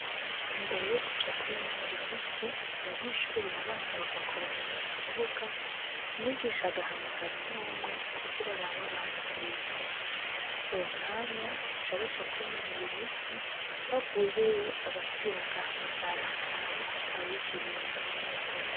Imbere yokuja kwinonora imitsi abanyeshure barabanza bagakoranira mukibuga umwigisha agahamagara umwumwe kugira arabe abasivye. Uwomwanya baca baja kwinonora imitsi bavuyeyo agasubira agahamagara kugira arabe ko atawigiriye mubindi.